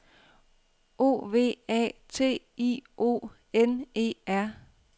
O V A T I O N E R